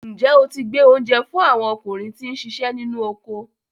Ǹjẹ́ o ti gbé oúnjẹ fún àwọn ọkùnrin tí ó ń siṣẹ́ nínú oko?